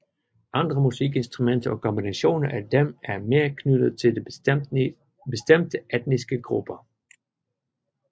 Andre musikinstrumenter og kombinationer af dem er mere knyttet til bestemte etniske grupper